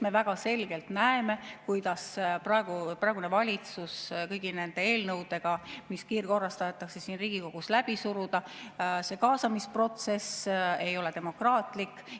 Me väga selgelt näeme, kuidas praegune valitsus kõigi nende eelnõudega, mis kiirkorras tahetakse siin Riigikogus läbi suruda – see kaasamisprotsess ei ole demokraatlik.